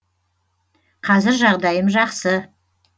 қазір жағдайым жақсы